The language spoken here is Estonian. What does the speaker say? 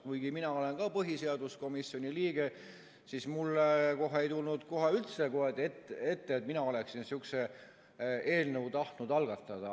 Kuigi mina olen ka põhiseaduskomisjoni liige, ei tulnud mulle kohe üldse ette, et mina oleksin sihukest eelnõu tahtnud algatada.